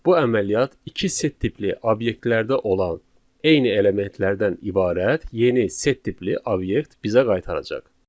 Bu əməliyyat iki set tipli obyektlərdə olan eyni elementlərdən ibarət yeni set tipli obyekt bizə qaytaracaq.